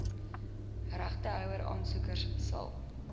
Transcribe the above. regtehouer aansoekers sal